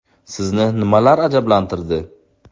Sizni nimalar ajablantirdi.